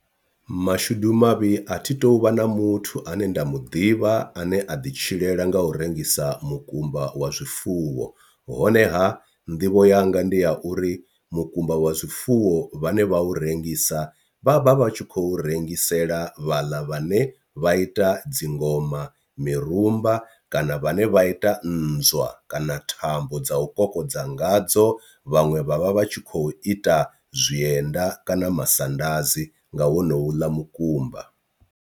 Mashudu mavhi a thi tu vha na muthu ane nda muḓivha ane a ḓi tshilela nga u rengisa mukumba wa zwifuwo honeha nḓivho yanga ndi ya uri mukumba wa zwifuwo vhane vha u rengisa vha vha vha tshi khou rengisela vhaḽa vhane vha ita dzingoma, mirumba kana vhane vha ita nnzwa kana thambo dza u kokodza ngadzo, vhaṅwe vhavha vhatshi kho ita zwienda kana masadazi nga honoula mukumba.